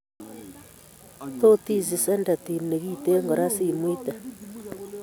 Totisich sadative nekiten koraa simuitee